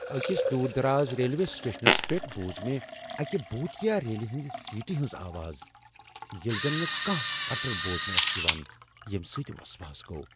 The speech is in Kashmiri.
اكِس دوٗر دراز ریلوے سٹیشنس پیٹھ ، بوٗز مےٚ اكہِ بوٗتیا ریلہِ ہنزِ سیٹی ہنز آواز ، ییلہِ زن نہ كانہہ پٹٕر بوزنہٕ یوان ٲس ، ییمہِ سۭتۍ وسواس گوٚو ۔